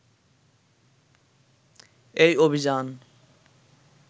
এই অভিযান